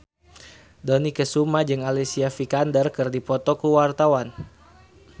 Dony Kesuma jeung Alicia Vikander keur dipoto ku wartawan